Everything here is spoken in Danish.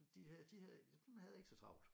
De havde de havde man havde ikke så travlt